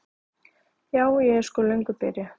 Ja, ég er sko löngu byrjuð.